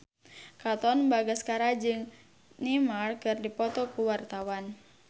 Katon Bagaskara jeung Neymar keur dipoto ku wartawan